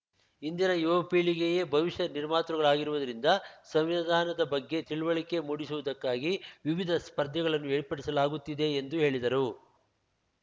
ಇಂದಿನ ಯುವ ಪೀಳಿಗೆಯೇ ಭವಿಷ್ಯದ ನಿರ್ಮಾತೃಗಳಾಗಿರುವುದರಿಂದ ಸಂವಿಧಾನದ ಬಗ್ಗೆ ತಿಳಿವಳಿಕೆ ಮೂಡಿಸುವುದಕ್ಕಾಗಿ ವಿವಿಧ ಸ್ಪರ್ಧೆಗಳನ್ನು ಏರ್ಪಡಿಸಲಾಗುತ್ತಿದೆ ಎಂದು ಹೇಳಿದರು